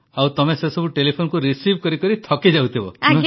ଆଉ ତମେ ସେସବୁ ଟେଲିଫୋନକୁ ରିସିଭ କରିକରି ଥକିଯାଉଥିବ